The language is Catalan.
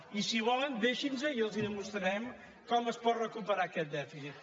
i si volen deixin nos i els demostrarem com es pot recuperar aquest dèficit